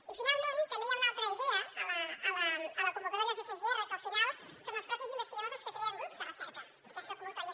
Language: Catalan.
i finalment també hi ha una altra idea a la convocatòria dels sgr que al final són els propis investigadors els que creen grups de recerca en aquesta convocatòria